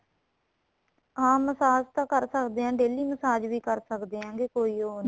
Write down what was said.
ਹਾਂ massage ਤਾਂ ਕਰ ਸਕਦੇ ਹਾਂ daily massage ਵੀ ਕਰ ਸਕਦੇ ਹਾਂ ਕੇ ਕੋਈ ਉਹ ਨਹੀਂ